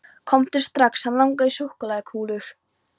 Komdu strax, hann langar í súkkulaðikúlur.